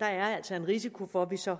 er altså en risiko for at vi så